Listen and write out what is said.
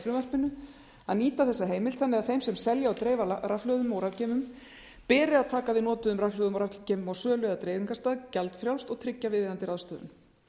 frumvarpinu að nýta þessa heimild þannig að þeim sem selja og dreifa rafhlöðum og rafgeymum beri að taka við notuðum rafhlöðum og rafgeymum á sölu eða dreifingarstað gjaldfrjálst og tryggja viðeigandi ráðstöfun